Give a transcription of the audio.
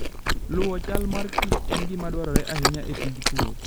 Luwo chal mar Kichen gima dwarore ahinya e tij pur.